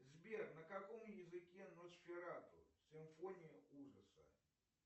сбер на каком языке носферату симфония ужаса